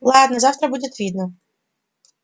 ладно завтра будет видно